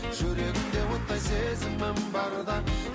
жүрегімде оттай сезімім барда